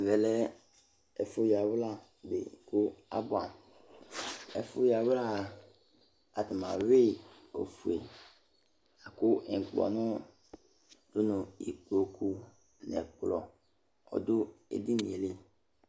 Ɛvɛ lɛ ɛfu yawla di k'abuɛ amu, ɛfu yawlá atani awui ofue, la ku ŋlpɔnu du nu ikpoku n'ɛkplɔ ɔdu edinìe li